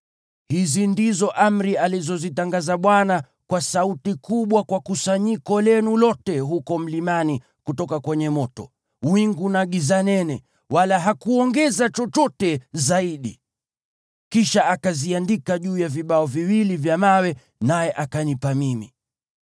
Hizi ndizo amri alizozitangaza Bwana kwa sauti kubwa kwa kusanyiko lenu lote huko mlimani kutoka kwenye moto, wingu na giza nene, wala hakuongeza chochote zaidi. Kisha akaziandika juu ya vibao viwili vya mawe, naye akanipa mimi.